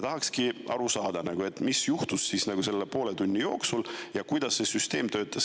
Tahakski aru saada, mis juhtus selle poole tunni jooksul ja kuidas see süsteem töötab.